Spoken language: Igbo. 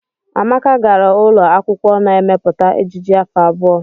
Amaka gara ụlọ akwụkwọ na-emepụta ejiji afọ abụọ.